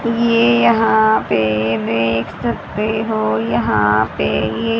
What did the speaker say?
ये यहां पे देख सकते हो यहां पे ये--